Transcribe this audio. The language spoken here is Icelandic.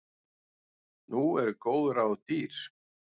Nú eru góð ráð dýr!